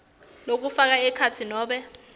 lokufaka ekhatsi nobe